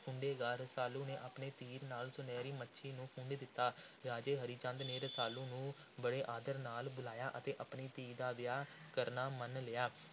ਫੁੰਡੇਗਾ। ਰਸਾਲੂ ਨੇ ਆਪਣੇ ਤੀਰ ਨਾਲ ਸੁਨਹਿਰੀ ਮੱਛਲੀ ਨੂੰ ਫੁੰਡ ਦਿੱਤਾ। ਰਾਜੇ ਹਰੀ ਚੰਦ ਨੇ ਰਸਾਲੂ ਨੂੰ ਬੜੇ ਆਦਰ ਨਾਲ ਬੁਲਾਇਆ ਅਤੇ ਆਪਣੀ ਧੀ ਦਾ ਵਿਆਹ ਕਰਨਾ ਮੰਨ ਲਿਆ।